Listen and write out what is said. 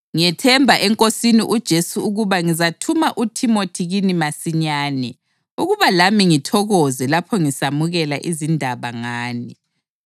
Ngiyethemba eNkosini uJesu ukuba ngizathuma uThimothi kini masinyane ukuba lami ngithokoze lapho ngisamukela izindaba ngani.